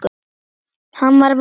Hann var vondur.